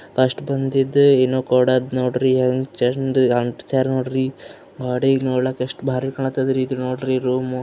First ಬಂದಿದ್ ಏನೋ ಕೊಡದ್ ಹೆಂಗ್ ಚಂದ್ ಆಂಟ್ಸ್ಯಾರ್ ನೋಡ್ರಿ ಗ್ವಾಡಿಗ್ ನೋಡ್ಲಾಕ್ ಎಷ್ಟ್ ಬಾರಿ ಕಾಣತಾಡ್ರೀ ಇದು ನೋಡ್ರಿ ರೂಮು .